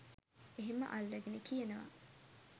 එහෙම අල්ලගෙන කියනවා